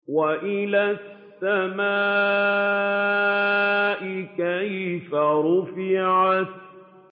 وَإِلَى السَّمَاءِ كَيْفَ رُفِعَتْ